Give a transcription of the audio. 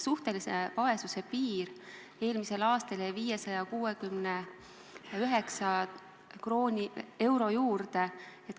Suhtelise vaesuse piir jäi eelmisel aastal 569 euro juurde.